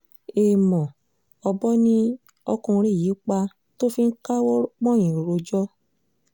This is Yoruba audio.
èèmọ̀ ọ̀bọ ni ọkùnrin yìí pa tó fi ń káwọ́ pọ́nyìn rojọ́